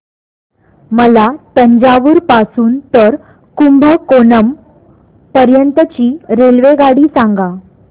मला तंजावुर पासून तर कुंभकोणम पर्यंत ची रेल्वेगाडी सांगा